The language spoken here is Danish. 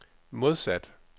modsat